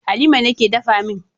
Halima ne ke dafa min